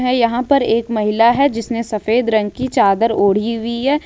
यहां पर एक महिला है जिसने सफेद रंग की चादर ओढ़ी हुई है।